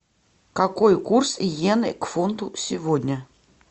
какой курс йены к фунту сегодня